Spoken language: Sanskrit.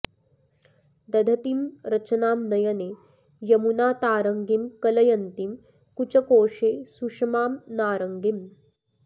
दधतीं रचनां नयने यमुनातारङ्गीं कलयन्तीं कुचकोशे सुषमां नारङ्गीम्